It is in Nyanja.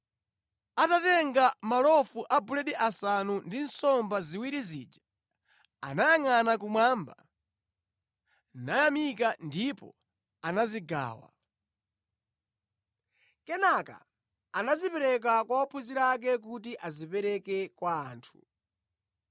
Atatenga malofu a buledi asanu ndi nsomba ziwiri zija anayangʼana kumwamba, nayamika ndipo anazigawa. Kenaka anazipereka kwa ophunzira ake kuti azipereke kwa anthu.